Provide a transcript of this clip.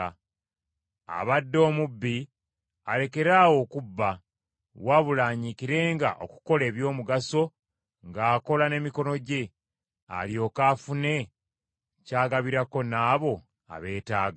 Abadde omubbi alekeraawo okubba, wabula anyiikirenga okukola eby’omugaso ng’akola n’emikono gye, alyoke afune ky’agabirako n’abo abeetaaga.